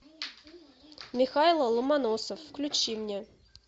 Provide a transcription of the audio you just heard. михайло ломоносов включи мне